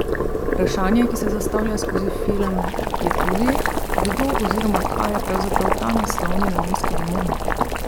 Vprašanje, ki se zastavlja skozi film, je tudi, kdo oziroma kaj je pravzaprav ta naslovni neonski demon?